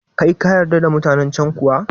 Kai kayarda da mutanen can kuwa?